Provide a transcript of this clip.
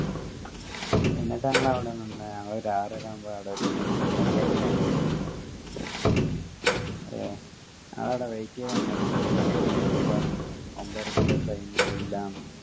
എന്നിട്ട് ഞങ്ങൾ അവിടെനിന്ന് ഞങ്ങൾ ഒരു ആറര ആവുമ്പൊ അവിടെ എത്തി ഒമ്പരക്കാ ഞങ്ങളെ train ഏഹ് ഞങ്ങളെടെ wait എയ്ത നിന്നപ്പോ പിന്നെ കൊറച് കൈനപ്പോ പറഞ്ഞു ഒമ്പരക്കുള്ള train ഇല്ലാന്ന്